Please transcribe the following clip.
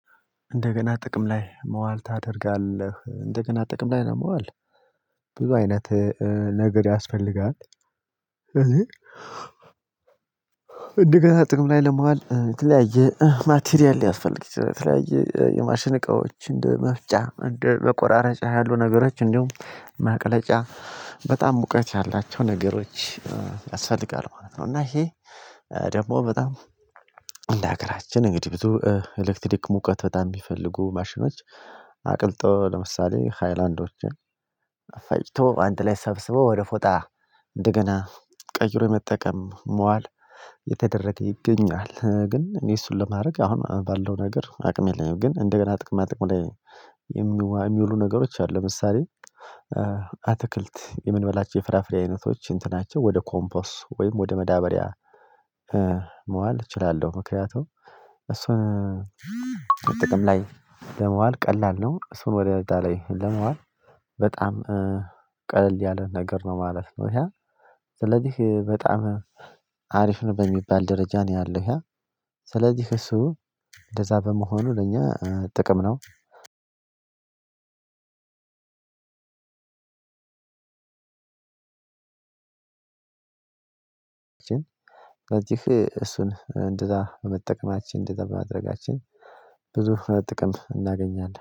እንደገና ጥቅም ላይ መዋል ታደርጋለህ እንደገና ጥቅም ላይ ለመዋል ብዙ አይነት ነገር ያስፈልጋል። እኔ እንደገና ጥቅም ላይ ለመዋል የተለያየ ማቴሪያል ሊያስፈልግ ይችላል የተለያየ የማሽን እቃዎች እንደ መፍጫ በቆራራጭ ያሉ ነገሮች እንዲሁም ማቅለጫ በጣም ሙቀት ያላቸው ነገሮች ያስፈልጋል ማለት ነው። እና ይሄ ደግሞ በጣም እንደ ሀገራችን እንግዲህ ብዙ ኤሌክትሪክ ሙቀት በጣም ሚፈልጉ ማሽኖች አቅልጦ ለምሳሌ ሃይላንዶችን ፈጭቶ አንተ ላይ ሰብስቦ ወደ ፎጣ እንደገና ቀይሮ የመጠቀም መዋል የተደረገ ይገኛል ግን እኔ እሱን ለማድረግ አሁን ባለው ነገር አቅም የለኝም። ግን እንደገና ጥቅማ ጥቅም ላይ የሚውሉ ነገሮች አሉ። ለምሳሌ አትክልት የምንበላቸው የፍራፍሬ አይነቶች እንትናቸው ወደ ኮምፖስ ወይም ወደ መዳበሪያ መዋል እችላለሁ። ምክንያቱም እሱን ጥቅም ላይ ለመዋል ቀላል ነው። እሱን ወደ ደጋ ላይ ለመዋል በጣም ቀለል ያለ ነገር ነው ማለት ነው። ስለዚህ በጣም አሪፍ ነው በሚባል ደረጃ ነው ያለው ስለዚህ እሱ እንደዛ በመሆኑ ለኛ ጥቅም ነው። በዚህ እሱን እንደዛ በመጠቀማችን እንደዛ በማድረጋችን ብዙ ጥቅም እናገኛለን